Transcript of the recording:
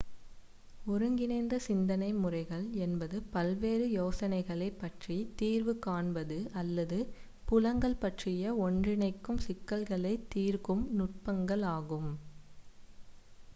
ஒருங்கிணைந்த சிந்தனை முறைகள் என்பது பல்வேறு யோசனைகளை பற்றி தீர்வு காண்பது அல்லது புலங்கள் பற்றிய ஒன்றிணைக்கும் சிக்கல்களை தீர்க்கும் நுட்பங்கள் ஆகும்